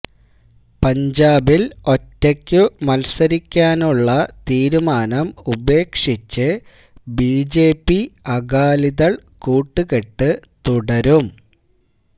പഞ്ചാബിൽ ഒറ്റയ്ക്കു മത്സരിക്കാനുള്ള തീരുമാനം ഉപേക്ഷിച്ച് ബിജെപി അകാലിദൾ കൂട്ടുകെട്ട് തുടരും